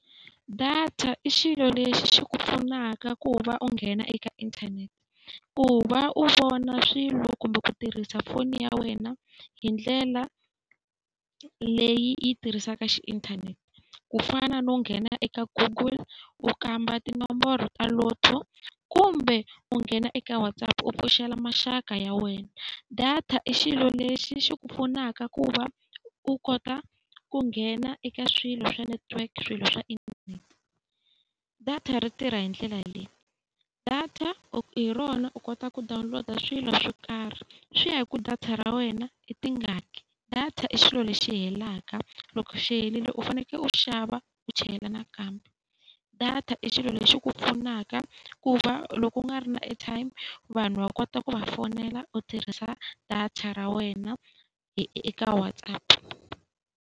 Data i xilo lexi xi ku pfunaka ku va u nghena eka inthanete, ku va u vona swilo kumbe ku tirhisa foni ya wena hi ndlela leyi yi tirhisaka xi inthanete. Ku fana no nghena eka Google, u kamba tinomboro ta Lotto kumbe u nghena eka WhatsApp u pfuxela maxaka ya wena. Data i xilo lexi xi ku pfunaka ku va u kota ku nghena eka swilo swa network, swilo swa internet. Data ri tirha hi ndlela leyi, data hi rona u kota ku download-a swilo swo karhi. Swi ya hi ku data ra wena i tingani. Data i xilo lexi helaka, loko xi herile u fanekele u xava u chela nakambe. Data i xilo lexi ku pfunaka ku va loko u nga ri na airtime vanhu va kota ku va fonela u tirhisa data ra wena eka WhatsApp.